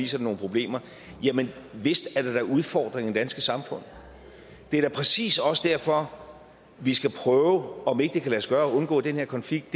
sig nogle problemer jamen vist er der da udfordringer i det danske samfund det er præcis også derfor vi skal prøve om ikke det kan lade sig gøre at undgå den her konflikt